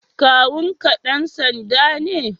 Kawun ka dan sanda ne?